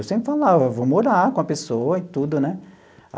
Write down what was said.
Eu sempre falava, vou morar com a pessoa e tudo, né?